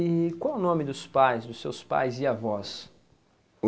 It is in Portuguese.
E qual o nome dos pais, dos seus pais e avós?